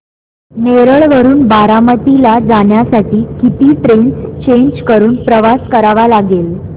नेरळ वरून बारामती ला जाण्यासाठी किती ट्रेन्स चेंज करून प्रवास करावा लागेल